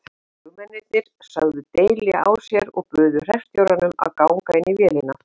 Flugmennirnir sögðu deili á sér og buðu hreppstjóranum að ganga inn í vélina.